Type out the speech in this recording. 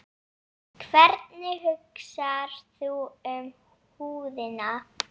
Hvernig hugsar þú um húðina?